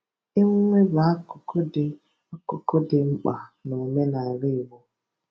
Emume bụ akụkụ dị akụkụ dị mkpa n'omenala Igbo.